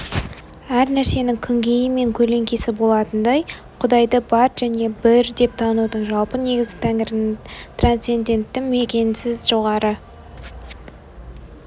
әр нәрсенің күнгейі мен көлеңкесі болатынындай құдайды бар және бір деп танудың жалпы негізі тәңірінің транцендентті мекенсіз жоғары